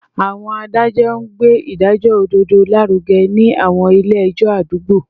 Àwọn adájọ́ ń gbé ìdájọ́ òdodo lárugẹ ní àwọn ilé ẹjọ́ àdúgbò